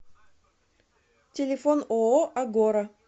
телефон ооо агора